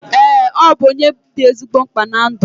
Eee, ọ bụ onye dị ezigbo mkpa na ndụ m